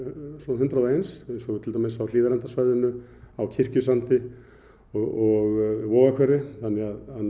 hundrað og eins eins og til dæmis á Hlíðarendasvæðinu á Kirkjusandi og Vogahverfi þannig að